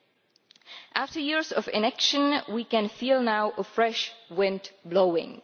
But after years of inaction we can feel now a fresh wind blowing.